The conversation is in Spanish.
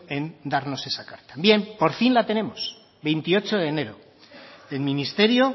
en darnos esa carta bien por fin la tenemos veintiocho de enero el ministerio